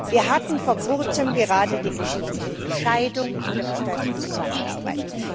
Wir hatten vor kurzem gerade die Geschichte mit der Scheidung in der verstärkten Zusammenarbeit.